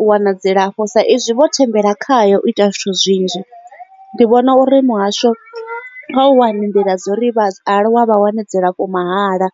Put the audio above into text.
u wana dzilafho sa izwi vho thembela khayo u ita zwithu zwinzhi ndi vhona uri muhasho nga u hani nḓila dzo ri vhaaluwa vha wane dzilafho mahala.